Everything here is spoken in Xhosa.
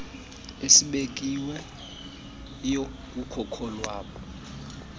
esibekiweyo kucoco lwawo